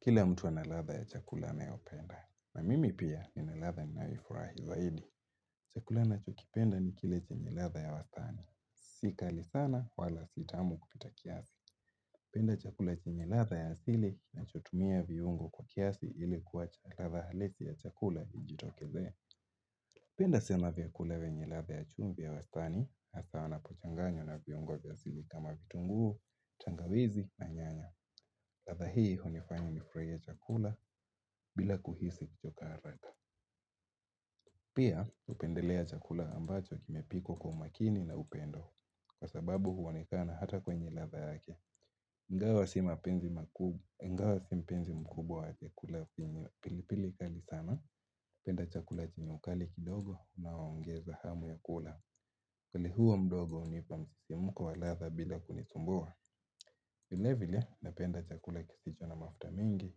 Kila mtu ana ladha ya chakula anayopenda na mimi pia nina ladha ninaifurahi zaidi. Chakula ninachokipenda ni kile chenye ladha ya wastani. Si kali sana wala si tamu kupita kiasi. Penda chakula nchenye ladha ya asili na chotumia viungo kwa kiasi ilikuwa chakula na halisi ya chakula na yijitokeze. Penda sema viakulewe nyelatha ya chumbi ya wastani, asawa na pochanganyo na viungo ya asili kama vitunguu, tangawizi na nyanya. Ladha hii hunifanya nifurahie chakula bila kuhisi kuchoka haraka. Pia hupendelea chakula ambacho kimepikwa kwa umakini na upendo. Kwa sababu huonekana hata kwenye ladha yake ingawa si mpenzi mkubwa wa chakula pilipili kali sana. Penda chakula chenye ukali kidogo na unaongeza hamu ya kula. Ugali huo mdogo hunipa msisi mkwa ladha bila kunisumbua. Vile vile napenda chakula kisicho na mafuta mingi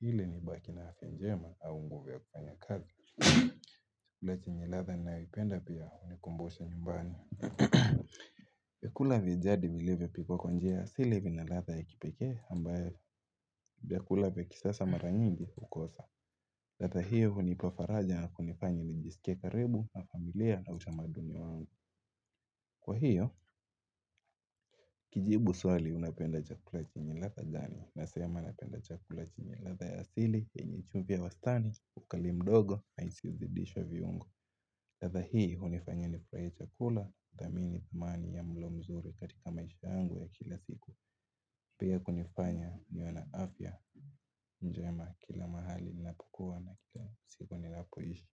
ili ni baki na afya njema au nguvu ya kufanya kazi. Vile chinye ladha na vipenda pia unikumbosha nyumbani. Vyakula vya jadi vile vipo konjea sile vina ladha ya kipekee ambaye vyakula vya kisasa mara nyingi ukosa. Ladha hiyo hunipa faraja na kunifanya nijisikie karibu na familia na utamaduni wangu. Kwa hiyo, kijibu swali unapenda chakula chenye ladha gani? Nasema napenda chakula chenye ladha ya asili yenye chumvi ya wastani, ugali mdogo, na isiyo zidishwa viungo latha hii hunifanya nifurahie chakula. Udamini tumani ya mlo mzuri katika maisha angu ya kila siku. Pea kunifanya niona afya njema kila mahali nilapukua na kila siku nilapoishi.